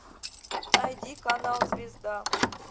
найди канал звезда